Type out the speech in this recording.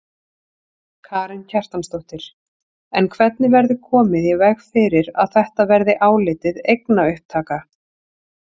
Karen Kjartansdóttir: En hvernig verður komið í veg fyrir að þetta verði álitið eignaupptaka?